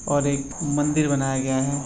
और एक मंदिर बनाया गया है।